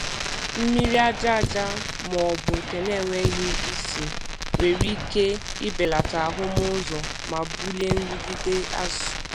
Mmiri aja aja ma ọ bụ nke na-enweghị isi nwere ike ibelata ahụmụ ụzọ ma bulie nrụgide azụ.